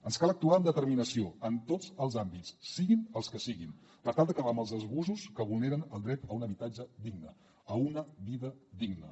ens cal actuar amb determinació en tots els àmbits siguin els que siguin per tal d’acabar amb els abusos que vulneren el dret a un habitatge digne a una vida digna